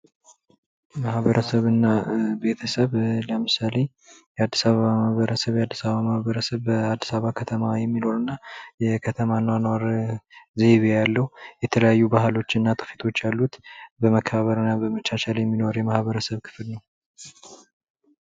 ማበረሰብና ቤተሰብ ለምሳሌ፦ የአዲስ አበባ ማህበረሰብ፤ የአዲስ አበባ ማህበረሰብ በአዲስ አበባ ከተማ የሚኖርና የከተማ አኗኗር ዘይቤ ያለው የተለያዩ ባህሎችና ትውፊቶች ያሉት በመከባበር እና በመቻቻል የሚለው የማህበረሰብ ክፍል ነው።